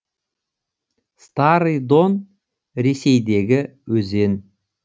старый дон ресейдегі өзен